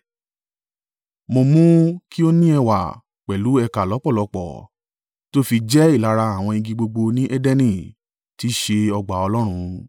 Mo mú kí ó ní ẹwà pẹ̀lú ẹ̀ka lọ́pọ̀lọ́pọ̀ tó fi jẹ́ ìlara àwọn igi gbogbo ní Edeni tí í ṣe ọgbà Ọlọ́run.